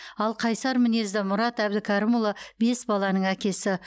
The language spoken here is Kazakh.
ал қайсар мінезді мұрат әбдікәрімұлы бес баланың әкесі